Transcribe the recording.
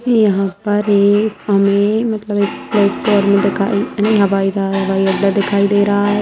यहाँ पर एक हमें मतलब एक प्लेटफॉर्म दिखाई नहीं हवाई जहाज़ हवाई अड्डा दिखाई दे रहा है।